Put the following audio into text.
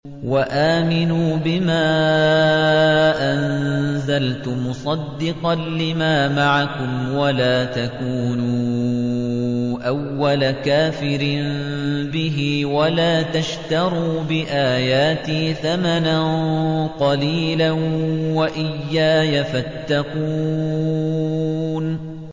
وَآمِنُوا بِمَا أَنزَلْتُ مُصَدِّقًا لِّمَا مَعَكُمْ وَلَا تَكُونُوا أَوَّلَ كَافِرٍ بِهِ ۖ وَلَا تَشْتَرُوا بِآيَاتِي ثَمَنًا قَلِيلًا وَإِيَّايَ فَاتَّقُونِ